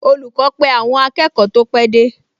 Olùkọ́ pe àwọn akẹ́kọ̀ọ tó pẹ́ dé